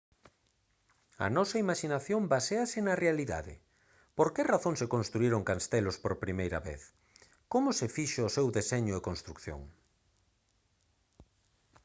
a nosa imaxinación baséase na realidade por que razón se construíron castelos por primeira vez como se fixo o seu deseño e construción